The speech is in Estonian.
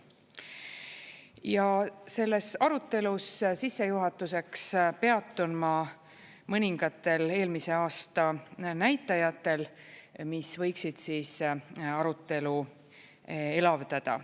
Ja selles arutelus sissejuhatuseks peatun ma mõningatel eelmise aasta näitajatel, mis võiksid arutelu elavdada.